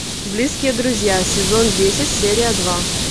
близкие друзья сезон десять серия два